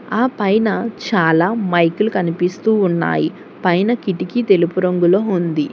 ఆపైన చాలా మైకులు కనిపిస్తూ ఉన్నాయి పైన కిటికీ తెలుపు రంగులో ఉంది.